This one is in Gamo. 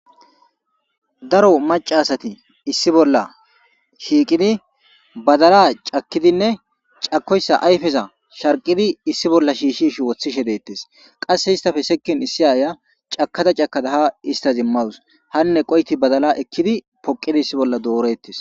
Daro maccaasathi issi bolla shiiqidi badalaa cakkidinne cakkoyssa ayfeza shaqqqizi issi bolla shiishshiishe woththishe deeththees; qassi hisththappe issi aayyiya cakkada cakkada haa isththazimawus;hanneqo7ithi badalaa ekkidi pokkidi issi bolla dooreththis.